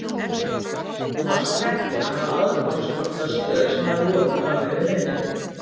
Hún var svo heppin að hafa aðgangskort að stöð sem hafði opið fram yfir miðnætti.